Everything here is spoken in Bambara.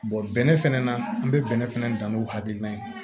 bɛnɛ fɛnɛ na an bɛ bɛnɛ fɛnɛ dan n'o hakilina ye